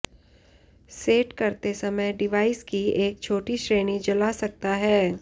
set करते समय device की एक छोटी श्रेणी जला सकता है